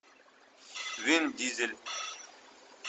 вин дизель